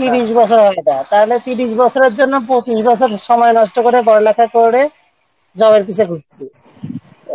তিরিশ বছর হয়ে যায় তাহলে তিরিশ বছরের জন্য পঁচিশ বছর সময় নষ্ট করে পড়ালেখা করে job-র পিছনে পড়েছি